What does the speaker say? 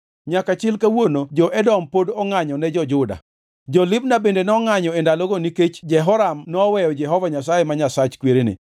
Nyaka chil kawuono jo-Edom pod ongʼanyo ne jo-Juda. Jo-Libna bende nongʼanyo e ndalono nikech Jehoram noweyo Jehova Nyasaye ma Nyasach kwerene.